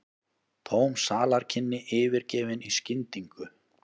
Tóm salarkynni yfirgefin í skyndingu.